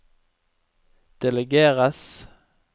delegeres